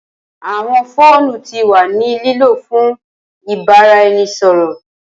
Awọn foonu ti wa ni lilo fun ibaraẹnisọrọ.